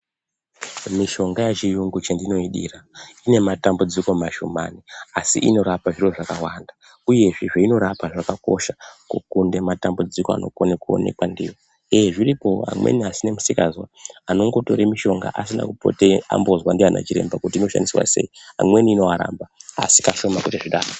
Mishonga yechiyungu chendinoidira, ine matambudziko mashomani, asi inorapa zviro zvakawanda, uyezve zveinorapa zvakakosha kukunde matambudziko anokone kuonekwa ndiwo, uye zvirikoo amweni asinemisikazwa anongotore mishonga asina kupote ambozwe ndiana chiremba, amweni inoaramba, asi kashoma kuti zvidaro.